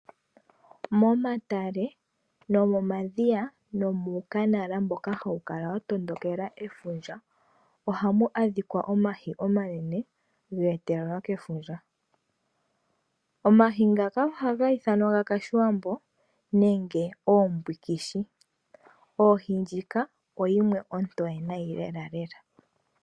Momatale nomomadhiya nomuukanala mboka hawu kala wa tondokela efundja ohamu adhika omahi omanene ge etelelwa kefundja. Omahi ngaka ohaga ithanwa gakashiwambo nenge oombwikishi. Ohi ndjika oyimwe ontoye nayi lelalela.